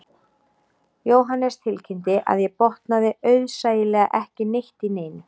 Jóhannes tilkynnti að ég botnaði auðsæilega ekki neitt í neinu